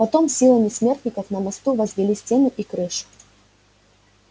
потом силами смертников на мосту возвели стены и крышу